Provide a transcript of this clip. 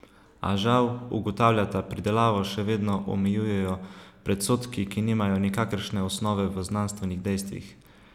A žal, ugotavljata, pridelavo še vedno omejujejo predsodki, ki nimajo nikakršne osnove v znanstvenih dejstvih.